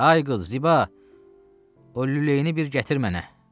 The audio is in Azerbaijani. Ay qız Ziba, o lüləyini bir gətir mənə.